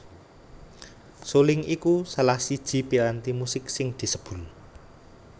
Suling iku salah siji piranti musik sing disebul